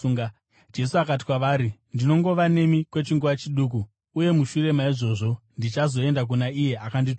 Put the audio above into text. Jesu akati kwavari, “Ndinongova nemi kwechinguva chiduku, uye mushure maizvozvo ndichazoenda kuna iye akandituma.